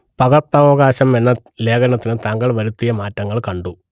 പകർപ്പവകാശം എന്ന ലേഖനത്തിൽ താങ്കൾ വരുത്തിയ മാറ്റങ്ങൾ കണ്ടു